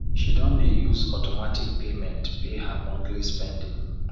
she don dey use automatic payment pay her monthly spending